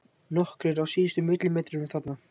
Nokkrir á síðustu millimetrunum þarna.